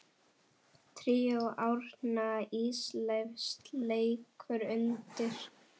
Tríó Árna Ísleifs leikur undir.